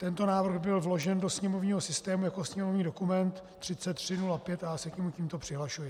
Tento návrh byl vložen do sněmovního systému jako sněmovní dokument 3305 a já se k němu tímto přihlašuji.